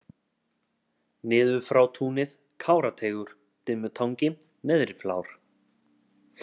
Niðurfrátúnið, Kárateigur, Dimmutangi, Neðriflár